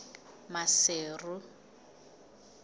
maseru